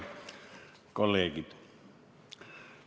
Head kolleegid!